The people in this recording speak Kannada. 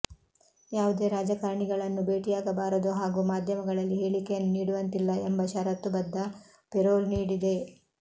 ಯಾವುದೇ ರಾಜಕಾರಣಿಗಳನ್ನೂ ಭೇಟಿಯಾಗಬಾರದು ಹಾಗೂ ಮಾಧ್ಯಮಗಳಲ್ಲಿ ಹೇಳಿಕೆಯನ್ನು ನೀಡುವಂತಿಲ್ಲ ಎಂಬ ಷರತ್ತು ಬದ್ದ ಪೆರೋಲ್ ನೀಡಿದೆ